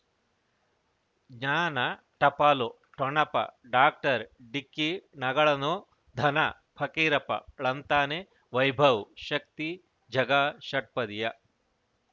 ಜ್ಞಾನ ಟಪಾಲು ಠೊಣಪ ಡಾಕ್ಟರ್ ಢಿಕ್ಕಿ ಣಗಳನು ಧನ ಫಕೀರಪ್ಪ ಳಂತಾನೆ ವೈಭವ್ ಶಕ್ತಿ ಝಗಾ ಷಟ್ಪದಿಯ